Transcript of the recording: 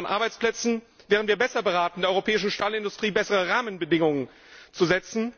Zur Sicherung von Arbeitsplätzen wären wir besser beraten, der europäischen Stahlindustrie bessere Rahmenbedingungen zu setzen,